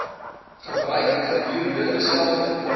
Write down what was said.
verbruik gedurende dieselfde